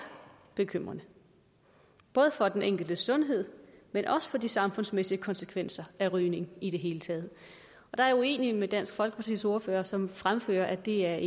bekymrende både for den enkeltes sundhed men også for de samfundsmæssige konsekvenser af rygning i det hele taget jeg er uenig med dansk folkepartis ordfører som fremfører at det er